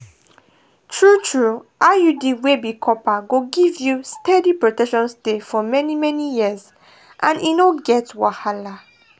true-true iud wey be copper go give you steady protection stay for many-many years and and e no get wahala.